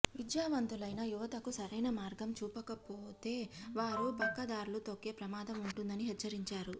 విద్యావంతులైన యువతకు సరైన మార్గం చూపకపోతే వారు పక్కదారులు తొక్కే ప్రమాదం ఉంటుందని హెచ్చరించారు